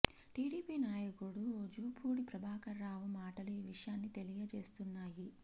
TDP నాయకుడు జూపూడి ప్రభాకర రావు మాటలు ఆ విషయాన్ని తెలియజేస్తున్నాయి